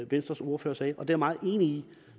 venstres ordfører sagde og det er jeg meget enig i